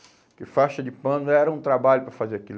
Porque faixa de pano era um trabalho para fazer aquilo.